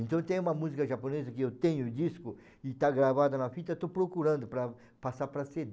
Então tem uma música japonesa que eu tenho o disco e está gravada na fita, estou procurando para passar para cê dê